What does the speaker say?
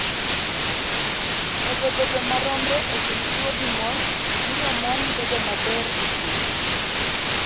Medo bedo maromre e kind chwo gi mon miyo mon bedo maber e pur.